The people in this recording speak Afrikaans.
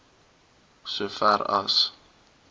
so ver as